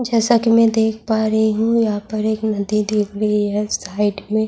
جیسا کہ میں دیکھ پا رہی ہوں یہاں ایک ندی دکھ رہی ہے -سائیڈ میں --